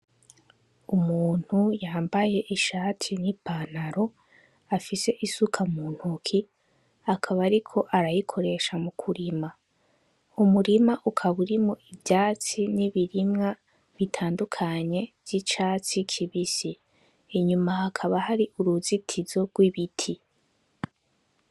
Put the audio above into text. Umuntu yambaye ishati n'ipantaro afis'isuka muntoke ,akaba ariko arayikoresha mukurima umurima ukaba urimwo ivyatsi n'ibirimwa bitandukanye vy'icatsi kibisi, inyuma hakaba har'uruzitizo rw'ibiti.